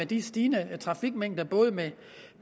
de stigende mængder af både